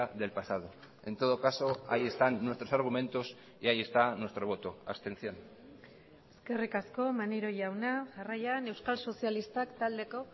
del pasado en todo caso ahí están nuestros argumentos y ahí está nuestro voto abstención eskerrik asko maneiro jauna jarraian euskal sozialistak taldeko